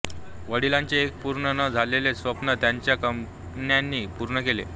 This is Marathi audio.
वडीलांचे एक पूर्ण न झालेले स्वप्न त्यांच्या कन्यांनी पूर्ण केले